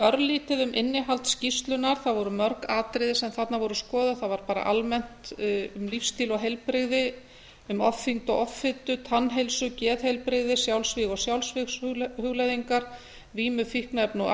örlítið um innihald skýrslunnar það voru mörg atriði sem þarna voru skoðuð það var bara almennt um lífsstíl og heilbrigði um ofþyngd og offitu tannheilsu geðheilbrigði sjálfsvíg og sjálfsvígshugleiðingar vímu fíkniefna og